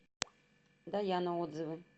даяна отзывы